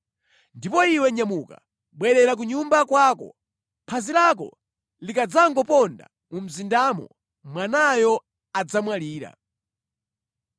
“Ndipo iwe nyamuka, bwerera ku nyumba kwako. Phazi lako likadzangoponda mu mzindamo, mwanayo adzamwalira.